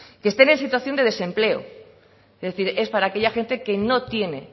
que estén en situación de desempleo es decir es para aquella gente que no tiene